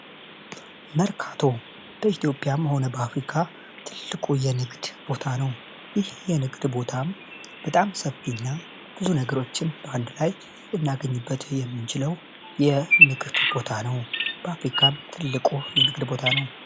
መርካቶ በኢትዮጵያም ሆነ በአፍሪካ ትልቁ የንግድ ቦታ ነው። ይህ የንግድ ቦታም ሰፊ እና ብዙ ነገሮችን በአንድ ላይ ልናገኝ የምንችለው የንግድ ቦታ ነው። በአፍሪካም ትልቁ የንግድ ቦታ ነው።